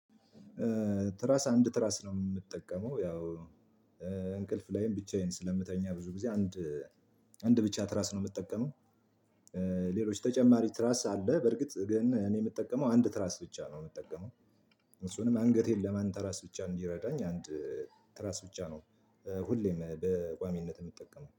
ትራስ አንድ ትራስ ነው የምትጠቀመው ያው እንቅልፍ ላይም ብቻዬን ስለምተኛ ብዙ ጊዜ አንድ አንድ ብቻ ትራስ ነው የምጠቀመው። ሌሎች ተጨማሪ ትራስ አለ። በእርግጥ ግን እኔ የምጠቀመው አንድ ትራስ ብቻ ነው የምጠቀመው። እሱንም አንገቴን ለማንተራስ ብቻ እንዲረዳኝ አንድ ትራስ ብቻ ነው። ሁሌም በቋሚነት የምጠቀመው